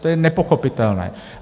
To je nepochopitelné.